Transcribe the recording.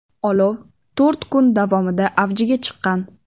Olov to‘rt kun davomida avjiga chiqqan.